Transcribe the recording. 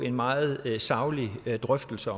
en meget saglig drøftelse